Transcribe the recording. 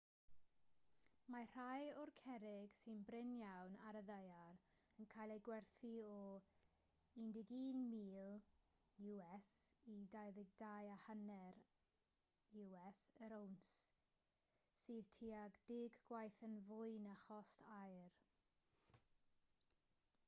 mae rhai o'r cerrig sy'n brin iawn ar y ddaear yn cael eu gwerthu o us$11,000 i $22,500 yr owns sydd tua deg gwaith yn fwy na chost aur